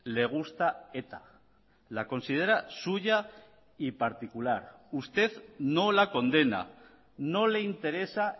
le gusta eta la considera suya y particular usted no la condena no le interesa